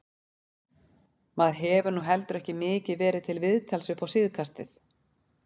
Maður hefur nú heldur ekki mikið verið til viðtals upp á síðkastið.